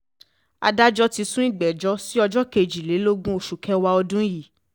adájọ́ ti sún ìgbẹ́jọ́ sí ọjọ́ kejìlélógún oṣù kẹwàá ọdún yìí